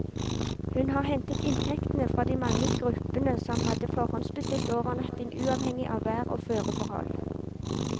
Hun har hentet inntektene fra de mange gruppene som hadde forhåndsbestilt overnatting uavhengig av vær og føreforhold.